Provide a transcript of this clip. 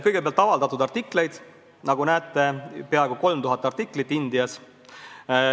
Kõigepealt, avaldatud artikleid – nagu näete, peaaegu 3000 artiklit Indias.